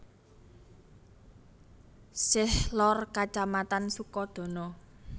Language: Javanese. Sish lor Kacamatan Sukodono